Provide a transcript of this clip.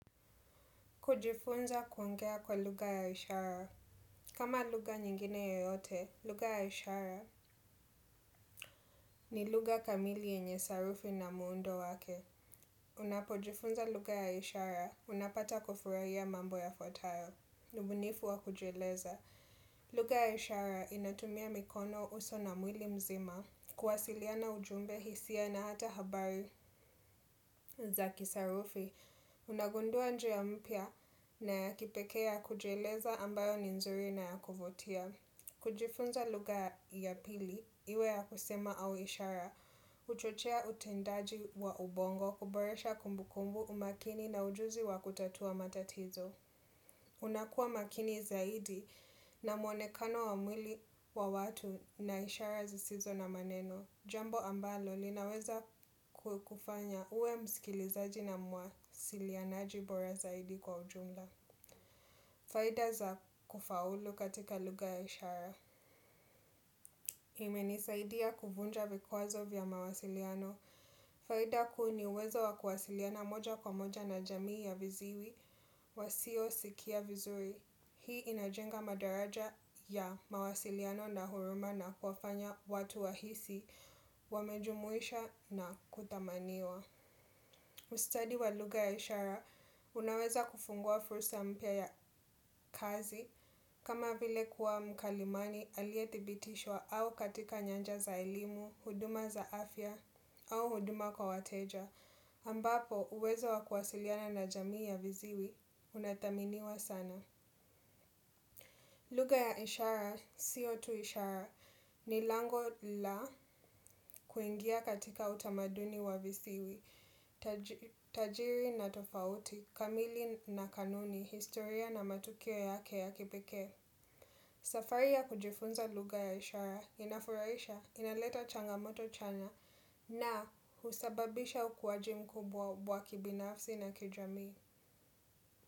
Kujifunza kuongea kwa luga ya ishara. Kama luga nyengine yoyote luga ya ishara ni luga kamili yenye sarufi na muundo wake. Unapojifunza luga ya ishara, unapata kufurahia mambo ya fotayo. Ubunifu wa kujieleza. Luga ya ishara inatumia mikono uso na mwili mzima. Kuwasiliana ujumbe hisia na hata habari. Za kisarufi, unagundua njia mpia na ya kipekea kujieleza ambayo ninzuri na ya kuvutia. Kujifunza luga ya pili, iwe ya kusema au ishara, huchochea utendaji wa ubongo, kuboresha kumbu kumbu umakini na ujuzi wa kutatua matatizo. Unakua makini zaidi na mwonekano wa mwili wa watu na ishara zisizo na maneno. Jambo ambalo linaweza kukufanya uwe msikilizaji na muwasilianaji bora kwa ujumla. Faida za kufaulu katika luga ya ishara. Ime nisaidi ya kuvunja vikwazo vya mawasiliano. Faida kuu ni uwezo wa kuwasiliana moja kwa moja na jamii ya viziwi wa siyo sikia vizuri. Hii inajenga madaraja ya mawasiliano na huruma na kufanya watu wahisi, wamejumuisha na kuthamaniwa. Ustudy wa luga ya ishara, unaweza kufungua fursa mpya ya kazi kama vile kuwa mkalimani alietibitishwa au katika nyanja za ilimu, huduma za afya au huduma kwa wateja. Ambapo, uweza wa kuwasiliana na jamii ya viziwi, unathaminiwa sana. Luga ya ishara, sio tuu ishara, ni lango la kuingia katika utamaduni wa visiwi, tajiri na tofauti, kamili na kanuni, historia na matukio yake ya kipeke. Safari ya kujifunza luga ya ishara, inafuraisha, inaleta changamoto chanya na husababisha ukuwaji mkubwa kibinafsi na kijami.